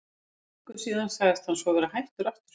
Fyrir viku síðan sagðist hann svo vera hættur aftur.